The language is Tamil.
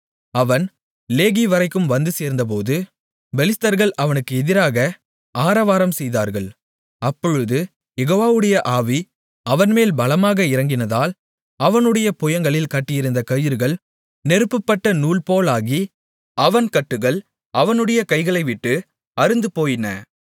அவன் லேகிவரைக்கும் வந்து சேர்ந்தபோது பெலிஸ்தர்கள் அவனுக்கு எதிராக ஆரவாரம் செய்தார்கள் அப்பொழுது யெகோவாவுடைய ஆவி அவன்மேல் பலமாக இறங்கினதால் அவனுடைய புயங்களில் கட்டியிருந்த கயிறுகள் நெருப்புப்பட்ட நூல்போலாகி அவன் கட்டுகள் அவனுடைய கைகளைவிட்டு அறுந்துபோயின